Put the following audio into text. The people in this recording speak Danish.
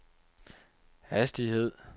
hastighed